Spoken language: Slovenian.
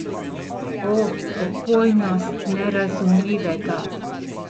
O, opojnost nerazumljivega!